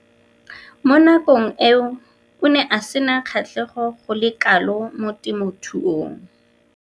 Mo nakong eo o ne a sena kgatlhego go le kalo mo temothuong.